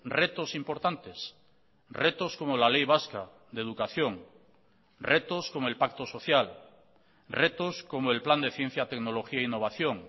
retos importantes retos como la ley vasca de educación retos como el pacto social retos como el plan de ciencia tecnología e innovación